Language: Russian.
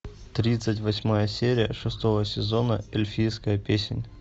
тридцать восьмая серия шестого сезона эльфийская песнь